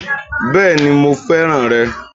Bẹ́ẹ̀ni mo fẹ́ràn rẹ̀